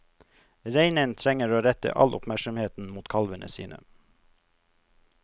Reinen trenger å rette all oppmerksomheten mot kalvene sine.